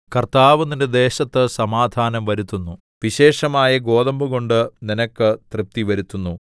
കർത്താവ് നിന്റെ ദേശത്ത് സമാധാനം വരുത്തുന്നു വിശേഷമായ ഗോതമ്പുകൊണ്ട് നിനക്ക് തൃപ്തിവരുത്തുന്നു